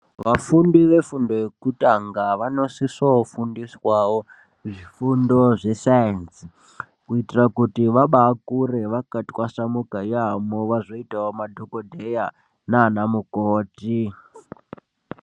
Vafundi vefundo yekutanga vanosisa kufundiswa zvifundo zvesayenzi kuitira kuti vabakure vakatwasanuka yamho vazoitawo madhokodheya nana mukoti.